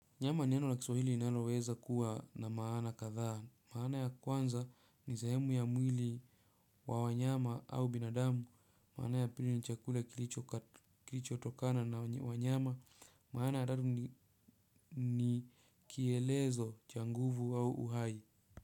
Nyama ni neno la kiswahili linaloweza kuwa na maana kadhaa. Maana ya kwanza ni sehemu ya mwili wa wanyama au binadamu. Maana ya pili ni chakula kilichotokana na wanyama. Maana ya tatu ni kielezo cha nguvu au uhai.